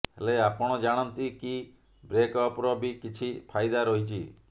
ହେଲେ ଆପଣ ଜାଣନ୍ତି କି ବ୍ରେକଅପର ବି କିଛି ଫାଇଦା ରହିଛି